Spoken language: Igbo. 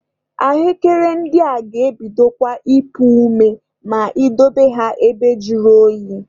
Ahụekere ndị a ga-ebidokwa ipu ome ma I dobe ha ebe juru oyi.